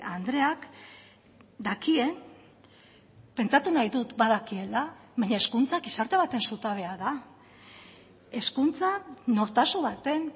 andreak dakien pentsatu nahi dut badakiela baina hezkuntza gizarte baten zutabea da hezkuntza nortasun baten